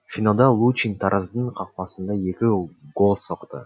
финалда лучин тараздың қақпасына екі гол соқты